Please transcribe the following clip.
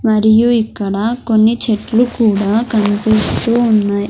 మరియు ఇక్కడ కొన్ని చెట్లు కూడ కన్పిస్తూ ఉన్నాయ్.